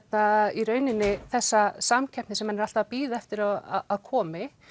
í rauninni þessa samkeppni sem hann er alltaf að bíða eftir að komi